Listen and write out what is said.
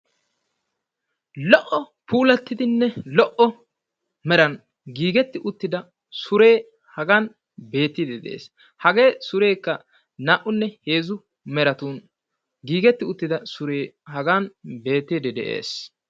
lo''o puulattidi lo''o meraan giigetti uttida suree hagan beettiide de'ees. hagee surekka naa''unne heezzu meratun giigetti uttida sure hagan beettide de'ees.